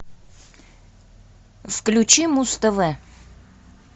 включи муз тв